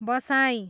बसाइँ